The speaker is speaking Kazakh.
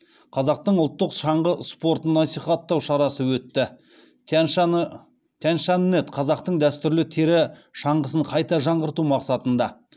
қазақтың ұлттық шаңғы спортын насихаттау шарасы өтті тяньшаньнет қазақтың дәстүрлі тері шаңғысын қайта жаңғырту мақсатында